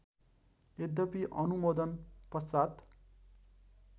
यद्यपि अनुमोदन पश्चात्